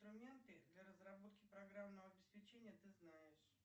инструменты для разработки программного обеспечения ты знаешь